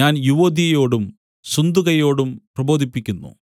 ഞാൻ യുവൊദ്യയെയോടും സുന്തുകയെയോടും പ്രബോധിപ്പിക്കുന്നു